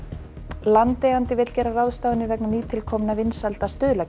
landeigandi vill gera ráðstafanir vegna nýtilkominna vinsælda